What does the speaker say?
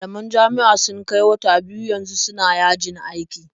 Malaman jami'a sun kai wata biyu yanzu suna yajin aiki.